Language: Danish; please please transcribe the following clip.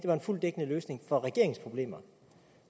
var en fuldt dækkende løsning for regeringens problemer